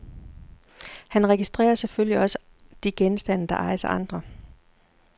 Han registrerer selvfølgelig også de genstande, der ejes af andre.